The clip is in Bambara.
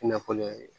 Nafolo ye